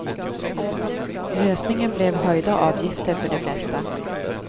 Lösningen blev höjda avgifter för de flesta.